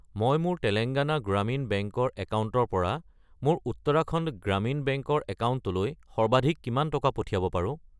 মই মোৰ তেলেঙ্গানা গ্ৰামীণ বেংক ৰ একাউণ্টৰ পৰা মোৰ উত্তৰাখণ্ড গ্ৰামীণ বেংক ৰ একাউণ্টলৈ সৰ্বাধিক কিমান টকা পঠিয়াব পাৰো?